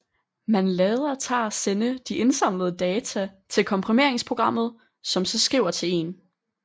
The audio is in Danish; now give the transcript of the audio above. Man lader tar sende de samlede data til komprimeringsprogrammet som så skriver til en fil